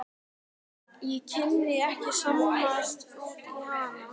Ég kunni ekki að skammast út í hana.